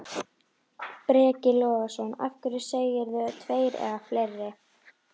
Breki Logason: Af hverju segirðu tveir eða fleiri?